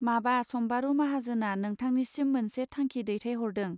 माबा सम्बारू माहाजोना नोंथानिसिम मोनसे थांखि दैथाय हरदों.